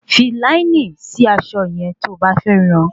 Fi láínì sí aṣọ yẹn tí o bá fẹ́ ran